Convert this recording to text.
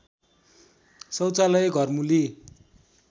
शौचालय घरमूली